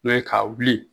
N'o ye ka wuli